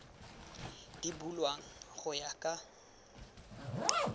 di bulwang go ya ka